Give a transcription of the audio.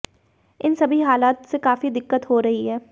इन सभी हालात से काफी दिक्कत हो रही है